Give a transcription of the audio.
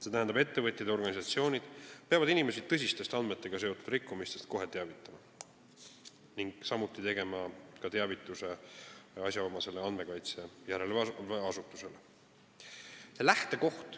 See tähendab, et ettevõtjad ja organisatsioonid peavad inimesi tõsistest andmetega seotud rikkumistest kohe teavitama ning samuti tegema teavituse asjaomasele andmekaitse järelevalve asutusele.